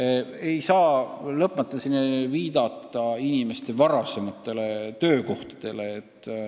Ja ei saa lõpmatuseni viidata inimeste varasematele töökohtadele.